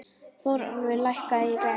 Þórólfur, lækkaðu í græjunum.